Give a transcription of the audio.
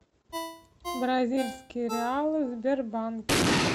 бразильские реалы в сбербанке